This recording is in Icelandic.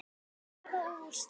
Staða og úrslit.